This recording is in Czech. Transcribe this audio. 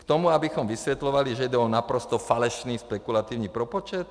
K tomu, abychom vysvětlovali, že jde o naprosto falešný spekulativní propočet?